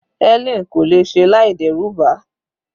Helen kò lè ṣe láì dẹ́rù ba